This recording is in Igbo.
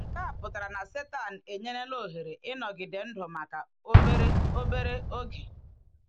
Nke a pụtara na Sátán enyerela ohere ịnọgide ndụ maka obere obere oge.